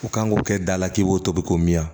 U kan k'o kɛ da la k'i k'o tobi ko min ya